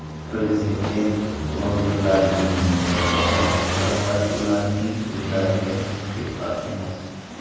Prezident blogerlarni o‘qimoqda va ularning so‘zlariga befarq emas.